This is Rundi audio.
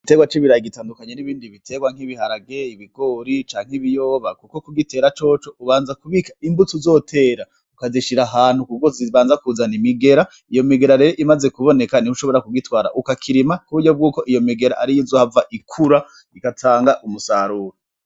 Iterwa c'ibiraye igitandukanyo n'ibindi biterwa nk'ibiharageye ibigori canke ibiyoba, kuko kugitera coco ubanza kubika imbutsa uzotera ukazishira ahantu kubwo zibanza kuzana imigera iyo migera rero imaze kuboneka nih ushobora kugitwara ukakirima kuburyo bwuko iyo migera ari yo izohava ikura igatanga umusaruro.